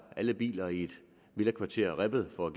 alle biler i et villakvarter ribbet for